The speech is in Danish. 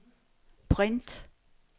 print